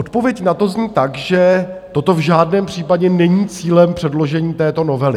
Odpověď na to zní tak, že toto v žádném případě není cílem předložení této novely.